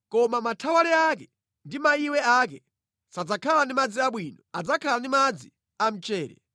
Koma mathawale ake ndi maiwe ake sadzakhala ndi madzi abwino; adzakhala ndi madzi a mchere.